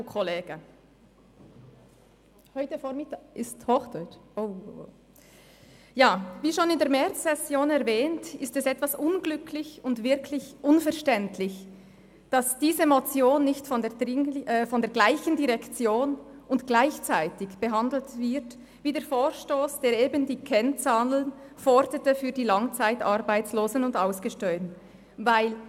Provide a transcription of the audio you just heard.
Wie schon in der Märzsession erwähnt, ist es etwas unglücklich und wirklich unverständlich, dass diese Motion nicht von der gleichen Direktion und gleichzeitig behandelt wird, wie der Vorstoss, der die Kennzahlen für die Langzeitarbeitslosen und Ausgesteuerten forderte.